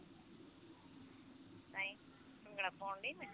ਨਹੀਂ ਭੰਗੜਾ ਪੌਂਨ ਢਾਈ ਜੇ